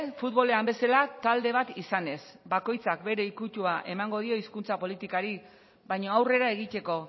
futbolean bezala talde bat izanez bakoitzak bere ikutua emango dio hizkuntza politikari baina aurrera egiteko